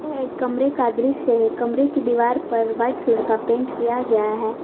यह एक कमरे दृश्य है कमरे की दीवार पर व्हाइट कलर का पेंट किया गया है।